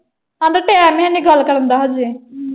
ਹਾਲੇ time ਹੈਨੀ ਗੱਲ ਕਰਨ ਦਾ ਹਾਲੇ।